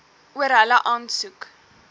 oor hulle aansoek